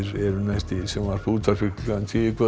eru næst í sjónvarpi og útvarpi klukkan tíu í kvöld